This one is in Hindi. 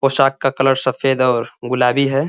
पोशाक का कलर सफेद और गुलाबी है।